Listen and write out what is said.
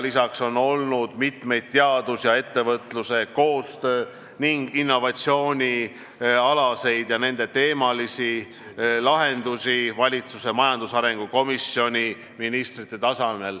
Lisaks on mitmeid teaduse ja ettevõtluse koostöö ning innovatsiooni teemasid lahendanud valitsuse majandusarengu komisjon ministrite tasemel.